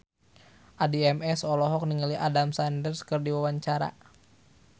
Addie MS olohok ningali Adam Sandler keur diwawancara